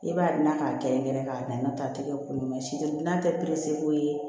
I b'a da k'a kɛrɛnkɛrɛn k'a daminɛ ta a tɛ kɛ koli ma si tɛ n'a tɛ perese ko ye